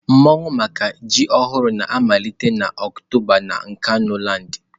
Mmawu maka ji ọhụrụ na-amalite na Oktoba na Nkanuland.